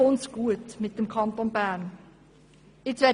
Dann kommt es mit dem Kanton Bern gut heraus.